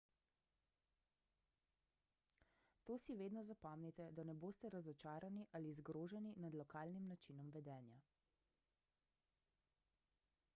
to si vedno zapomnite da ne boste razočarani ali zgroženi nad lokalnim načinom vedenja